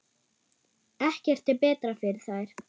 Ekkert er betra fyrir þær.